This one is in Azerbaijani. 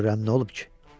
Görürəm, nə olub ki?